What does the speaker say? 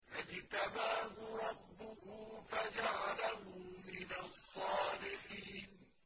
فَاجْتَبَاهُ رَبُّهُ فَجَعَلَهُ مِنَ الصَّالِحِينَ